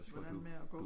Hvordan med at gå